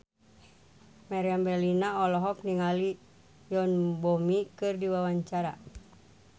Meriam Bellina olohok ningali Yoon Bomi keur diwawancara